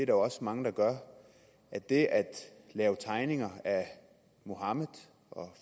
jo også mange der gør at det at lave tegninger af muhammed og